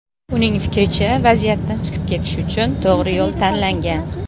Uning fikricha, vaziyatdan chiqib ketish uchun to‘g‘ri yo‘l tanlangan.